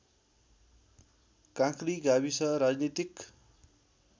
काँक्री गाविस राजनीतिक